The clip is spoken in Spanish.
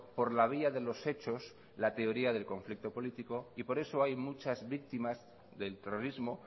por la vía de los hechos la teoría del conflicto político y por eso hay muchas víctimas del terrorismo